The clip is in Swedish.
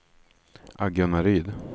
Agunnaryd